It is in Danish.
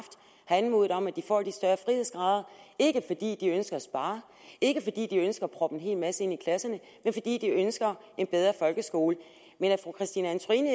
anmodet om at de får lidt større frihedsgrader ikke fordi de ønsker at spare ikke fordi de ønsker at proppe en hel masse ind i klasserne men fordi de ønsker en bedre folkeskole men at fru christine antorini